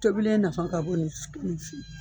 Tobilen nafa ka bon nin